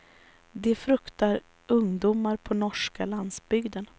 Det fruktar ungdomar på norska landsbygden.